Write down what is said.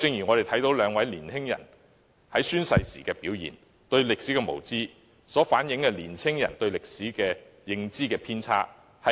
我們都看到兩位年輕人宣誓時的表現，他們對歷史的無知，反映出青年人對歷史認知的偏差。